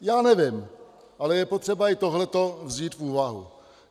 Já nevím, ale je potřeba i tohle vzít v úvahu.